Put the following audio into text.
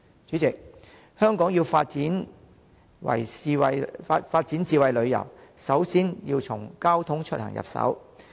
主席，香港要發展智慧旅遊，首先要從交通出行入手。